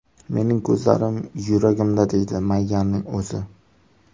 Mening ko‘zlarim yuragimda”, deydi Mayyaning o‘zi.